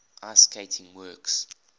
ice skating works